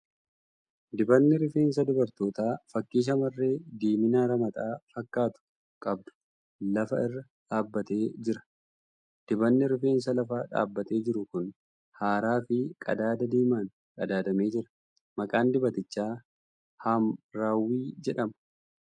Dibanni rifeensaa dubartootaa fakkii shamarree diimiina ramaxa fakkaatu qabdu lafa irra dhaabbatee jira. Dibanni rifeensaa lafa dhaabbatee jiru kun haaraa fi qadaada diimaan qadaadamee jira. Maqaan dibatichaa ' haamraawwii ' jedhama.